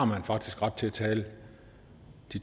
har faktisk ret til at tale